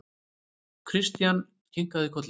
Christian kinkaði kolli.